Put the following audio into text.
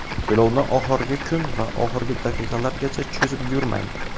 To‘lovni oxirgi kun va oxirgi daqiqalargacha cho‘zib yurmang.